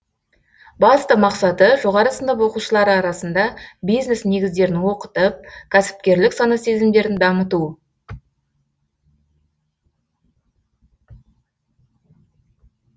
басты мақсаты жоғары сынып оқушылары арасында бизнес негіздерін оқытып кәсіпкерлік сана сезімдерін дамыту